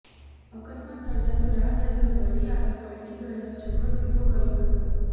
અકસ્માત સર્જાતો રાહદરીઓ દોડી આવી પલટી ગયેલો છકડો સિધો કર્યો હતો